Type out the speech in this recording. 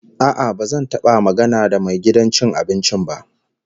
A'a, ba zan taba magana da mai gidan cin abincin ba.